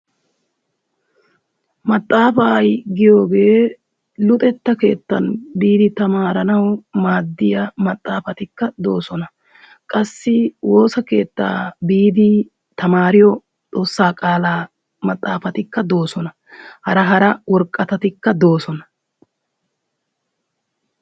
Maxxaafaa giyogee luxetta keettan biidi tamaaranawu maaddiya maxxaafatikka de'oosona. Qassi woossa keettaa biidi tamaariyo xoossaa qaalaa maxaafatikka doosona. Hara hara woraqatatikka doosona.